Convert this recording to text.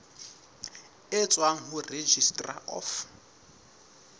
e tswang ho registrar of